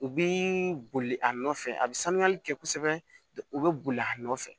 U bi boli a nɔfɛ a bi sanuyali kɛ kosɛbɛ u be boli a nɔfɛ